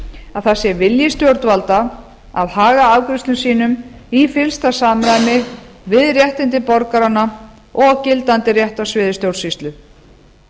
að það sé vilji stjórnvalda að haga afgreiðslum sínum í fyllsta samræmi við réttindi borgaranna og gildandi rétt á sviði stjórnsýslu